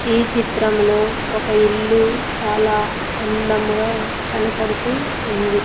ఈ చిత్రంలో ఒక ఇల్లు చాలా అందముగా కనపడుతూ ఉంది.